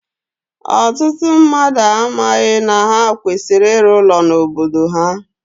Ọtụtụ mmadụ amaghị na ha kwesịrị ịrụ ụlọ n'obodo ha